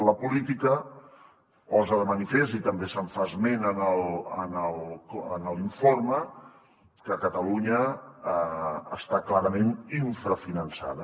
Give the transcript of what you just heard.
la política posa de manifest i també se’n fa esment en l’informe que catalunya està clarament infrafinançada